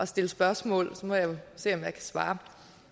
stille spørgsmål så må jeg jo se om jeg kan svare